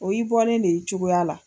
O y'i bɔlen de y'i cogoya la.